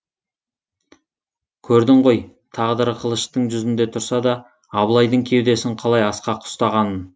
көрдің ғой тағдыры қылыштың жүзінде тұрса да абылайдың кеудесін қалай асқақ ұстағанын